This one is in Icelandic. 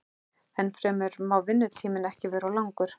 Ennfremur má vinnutíminn ekki vera of langur.